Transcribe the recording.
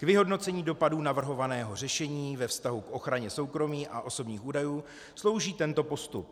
K vyhodnocení dopadů navrhovaného řešení ve vztahu k ochraně soukromí a osobních údajů slouží tento postup.